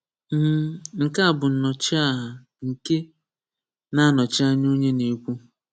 M (nke a bụ Nnọchiaha nke na-anọchi anya onye na-ekwu)